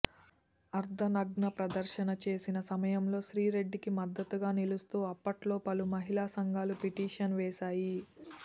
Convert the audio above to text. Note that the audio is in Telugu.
అర్ధనగ్న ప్రదర్శన చేసిన సమయంలో శ్రీరెడ్డికి మద్దతుగా నిలుస్తూ అప్పట్లో పలు మహిళా సంఘాలు పిటీషన్ వేశాయి